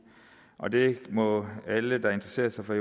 og det må alle der interesserer sig for